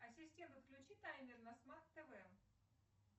ассистент отключи таймер на смарт тв